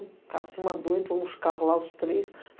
O cara se mandou, entrou uns carros lá, uns três.